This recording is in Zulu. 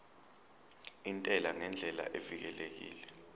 intela ngendlela evikelekile